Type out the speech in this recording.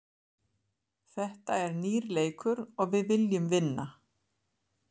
Þetta er nýr leikur og við viljum vinna.